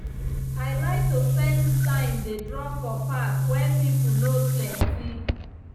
i like to spend time dey draw for park when pipo no plenty.